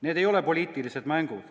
Need ei ole poliitilised mängud.